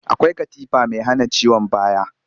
Akwai katifa mai hana ciwon baya